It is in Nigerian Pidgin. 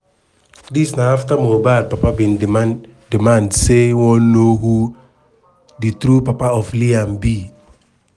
dis na afta mohbad papa bin demand demand say e wan know who di true papa of liam be.